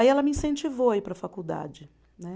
Aí ela me incentivou a ir para a faculdade, né.